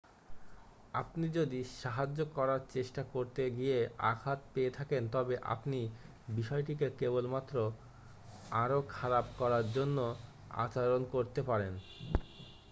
আপনি যদি সাহায্য করার চেষ্টা করতে গিয়ে আঘাত পেয়ে থাকেন তবে আপনি বিষয়টিকে কেবলমাত্র আরও খারাপ করার জন্য আচরণ করতে পারেন